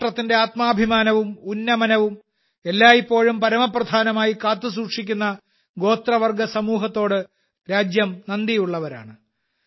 രാഷ്ട്രത്തിന്റെ ആത്മാഭിമാനവും ഉന്നമനവും എല്ലായ്പ്പോഴും പരമപ്രധാനമായി കാത്തുസൂക്ഷിക്കുന്ന ഗോത്രവർഗ സമൂഹത്തോട് രാജ്യം നന്ദിയുള്ളവരാണ്